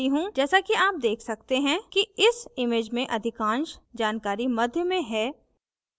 जैसा कि आप देख सकते हैं कि इस image में अधिकांश जानकारी मध्य में हैं